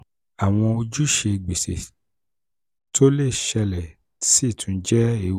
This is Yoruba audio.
awọn ojuse gbese to le ṣẹlẹ si tun jẹ ewu.